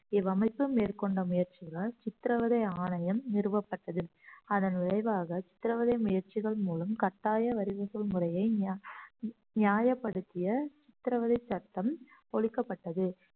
இவ்வமைப்பு மேற்கொண்ட முயற்சிகளால் சித்திரவதை ஆணையம் நிறுவப்பட்டது அதன் விளைவாக சித்திரவதை முயற்சிகள் மூலம் கட்டாய வரிவசூல் முறைய நிய~ நியாயப்படுத்திய சித்திரவதை சட்டம் ஒலிக்கப்பட்டது